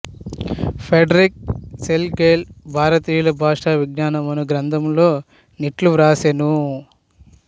Frederick Schlegel భారతీయుల భాష విజ్ఞానము అను గ్రంథములో నిట్లు వ్రాసెను